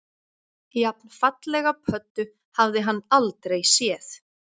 Jafnfallega pöddu hafði hann aldrei séð